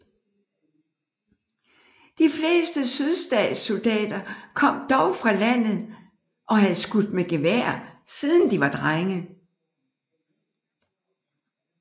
De fleste sydstatssoldater kom dog fra landet og havde skudt med gevær siden de var drenge